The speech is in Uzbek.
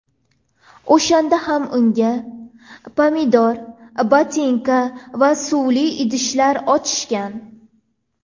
O‘shanda ham unga pomidor, botinka va suvli idishlar otishgan.